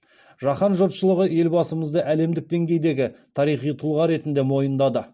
жаһан жұртшылығы елбасымызды әлемдік деңгейдегі тарихи тұлға ретінде мойындады